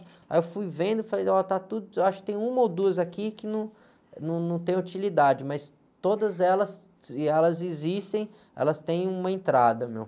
Aí eu fui vendo e falei, olha, está tudo, acho que tem uma ou duas aqui que num, num, não tem utilidade, mas todas elas, se elas existem, elas têm uma entrada, meu.